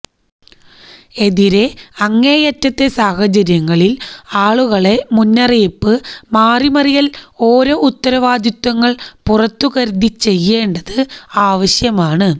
എതിരെ അങ്ങേയറ്റത്തെ സാഹചര്യങ്ങളിൽ ആളുകളെ മുന്നറിയിപ്പ് മാറിമറിയൽ ഓരോ ഉത്തരവാദിത്വങ്ങൾ പുറത്തു കരുതി ചെയ്യേണ്ടത് ആവശ്യമാണ്